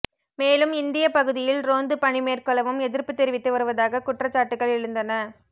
மேலும் இந்திய பகுதியில் ரோந்து பணி மேற்கொள்ளவும் எதிர்ப்பு தெரிவித்து வருவதாக குற்றச்சாட்டுகள் எழுந்தன